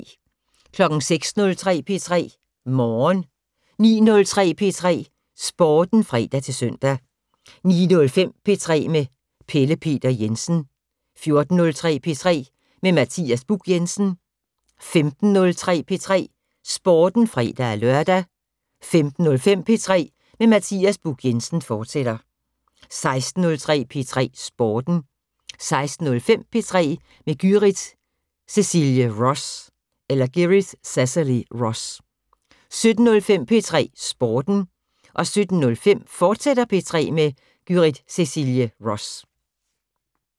06:03: P3 Morgen 09:03: P3 Sporten (fre-søn) 09:05: P3 med Pelle Peter Jensen 14:03: P3 med Mathias Buch Jensen 15:03: P3 Sporten (fre-lør) 15:05: P3 med Mathias Buch Jensen, fortsat 16:03: P3 Sporten 16:05: P3 med Gyrith Cecilie Ross 17:03: P3 Sporten 17:05: P3 med Gyrith Cecilie Ross, fortsat